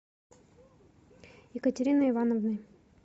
екатериной ивановной